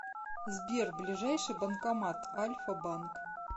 сбер ближайший банкомат альфа банк